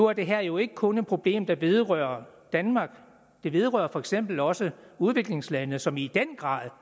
er det her jo ikke kun et problem der vedrører danmark det vedrører for eksempel også udviklingslande som i en grad